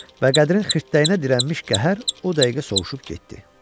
Və Qədirin xirtdəyinə dirənmiş qəhər o dəqiqə sovşub getdi.